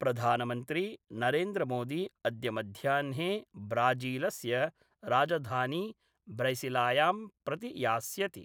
प्रधानमन्त्री नरेन्द्रमोदी अद्य मध्याहने ब्राजीलस्य राजधानी ब्रैसिलियां प्रति यास्यति।